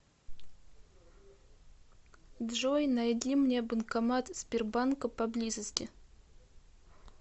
джой найди мне банкомат сбербанка поблизости